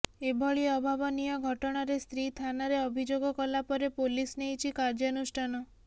ଏଭଳି ଅଭାବନୀୟ ଘଟଣାରେ ସ୍ତ୍ରୀ ଥାନାରେ ଅଭିଯୋଗ କଲାପରେ ପୋଲିସ ନେଇଛି କାର୍ଯ୍ୟାନୁଷ୍ଠାନ